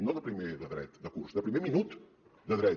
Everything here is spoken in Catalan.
no de primer de dret de curs de primer minut de dret